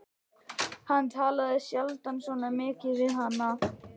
Hann talaði sjaldan svona mikið við hana.